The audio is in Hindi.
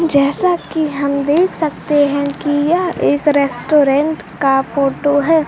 जैसा कि हम देख सकते हैं कि यह एक रेस्टोरेंट का फोटो है।